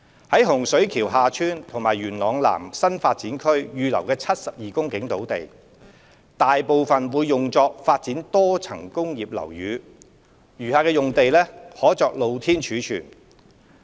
在洪水橋/廈村及元朗南新發展區預留的72公頃土地，大部分會用作發展多層工業樓宇，餘下用地可作露天貯物。